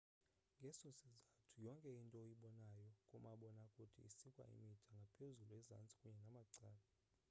ngeso sizathu yonke into oyibonayo kumabonakude isikwe imida ngaphezulu ezantsi kunye namacala